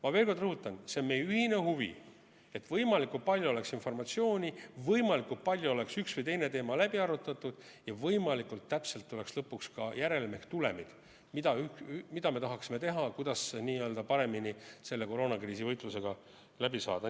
Ma veel kord rõhutan: see on meie ühine huvi, et võimalikult palju oleks informatsiooni, võimalikult palju oleks üks või teine teema läbi arutatud ja võimalikult täpselt tuleks lõpuks ka järelm ehk tulemid, mida me tahaksime teha, kuidas paremini selle koroonakriisi võitlusega ühele poole saada.